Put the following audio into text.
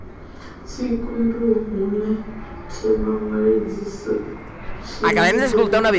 tsiku nduhune themamveledziso tshimbidzo na